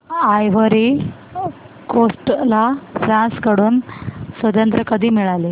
ivory Coast ला France कडून स्वातंत्र्य कधी मिळाले